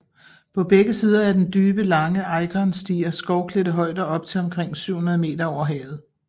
På begge sider af den dybe og lange Eikern stiger skovklædte højder op til omkring 700 moh